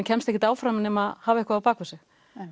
kemst ekkert áfram nema að hafa eitthvað á bakvið sig